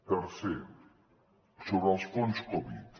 tercer sobre els fons covid